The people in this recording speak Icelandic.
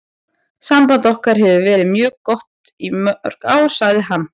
Samband okkar hefur verið mjög gott í mörg ár, sagði hann.